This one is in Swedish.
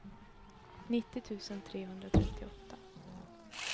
nittio tusen trehundratrettioåtta